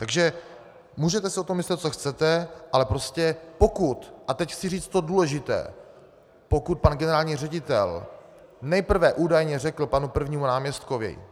Takže můžete si o tom myslet, co chcete, ale prostě pokud, a teď chci říct to důležité, pokud pan generální ředitel nejprve údajně řekl panu prvnímu náměstkovi...